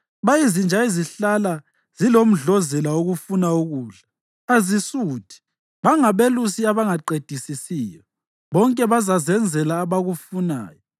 Bayizinja ezihlala zilomdlozela wokufuna ukudla, azisuthi. Bangabelusi abangaqedisisiyo, bonke bazazenzela abakufunayo, lowo lalowo udinga inzuzo yakhe.